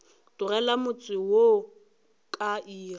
tlogela motse wo ka iri